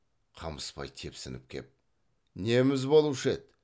қамысбай тепсініп кеп неміз болушы еді